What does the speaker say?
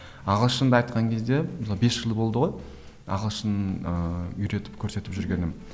ағылшынды айтқан кезде мысалы бес жыл болды ғой ағылшын ыыы үйретіп көрсетіп жүргенім